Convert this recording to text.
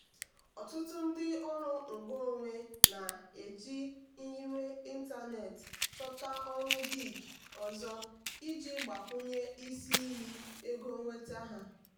ọtụtụ ndị ọrụ ngo onwe na-eji nyiwe ịntanetị chọta ọrụ gig ọzọ iji gbakwunye isi iyi ego nnweta ha.